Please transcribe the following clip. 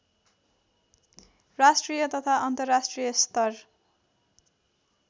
राष्ट्रिय तथा अन्तर्राष्ट्रिय स्तर